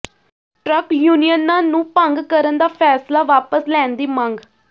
truck ਯੂਨੀਅਨਾਂ ਨੂੰ ਭੰਗ ਕਰਨ ਦਾ ਫ਼ੈਸਲਾ ਵਾਪਸ ਲੈਣ ਦੀ ਮੰਗ